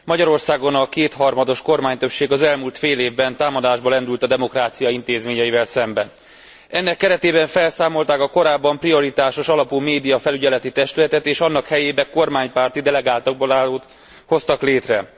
Magyarországon a kétharmados kormánytöbbség az elmúlt fél évben támadásba lendült a demokrácia intézményeivel szemben. Ennek keretében felszámolták a korábban paritásos alapú médiafelügyeleti testületet, és annak helyébe kormánypárti delegáltakból állót hoztak létre.